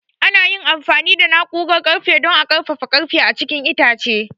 An yi amfani da na'urar ƙarfe don a ƙarfafa ƙarfe a cikin itace.